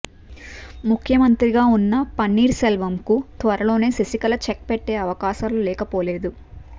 ముఖ్యమంత్రిగా ఉన్న పన్నీర్ సెల్వంకు త్వరలోనే శశికళ చెక్ పెట్టే అవకాశాలు లేకపోలేదు